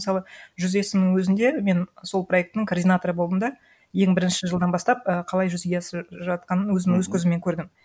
мысалы жүз есімнің өзінде мен сол проектінің координаторы болдым да ең бірінші жылдан бастап і қалай жүзеге асып жатқанын өзім өз көзіммен көрдім